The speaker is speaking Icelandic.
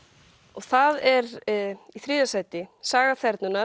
og það er í þriðja sæti Saga